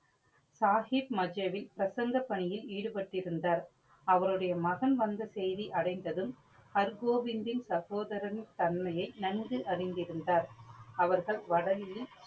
சாஹிப் மஜேவி பிரசந்த பணியில் ஈடுபட்டிருந்தார். அவரோடைய மகன் வந்த செய்தி அடைந்ததும் ஹர் கோவிந்தின் சகோதரன் தன்மையை நன்கு அறிந்துதிருந்தார். அவர்கள் வடலியில்